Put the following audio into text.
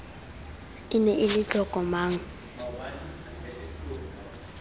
ne e le e tlokomang